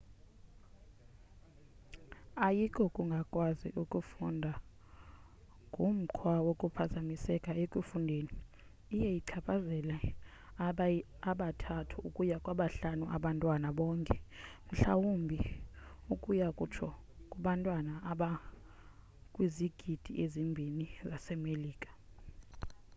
ayikokungakwazi ukufunda ngumkhwa wokuphazamiseka ekufundeni; iye ichaphazele aba 3 ukuya kwaba 5 abantwana bonke mhlawumbi ukuya kutsho kubantwana abakwizigidi ezibini zase melika